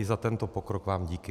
I za tento pokrok vám díky.